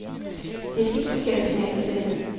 Det er et helt forkert signal at sende.